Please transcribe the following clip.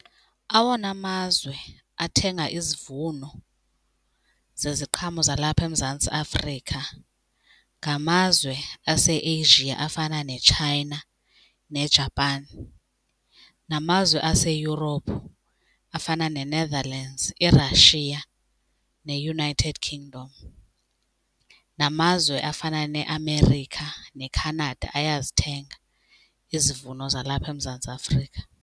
Awona mazwe athenga izivuno zeziqhamo zalapha eMzantsi Afrika ngamazwe aseAsia afana neChina neJapan, namazwe aseEurope afana neNetherlands, iRussia neUnited Kingdom. Namazwe afana neAmerica neCanada ayazithenga izivuno zalapha eMzantsi Afrika.